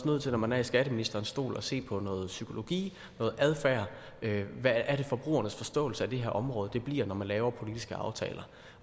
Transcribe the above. nødt til når man er i skatteministerens stol at se på noget psykologi noget adfærd hvad er det forbrugernes forståelse af det her område bliver når man laver politiske aftaler